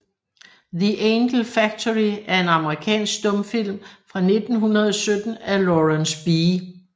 The Angel Factory er en amerikansk stumfilm fra 1917 af Lawrence B